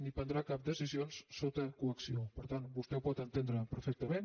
no prendrà cap decisió sota coacció per tant vostè ho pot entendre perfec·tament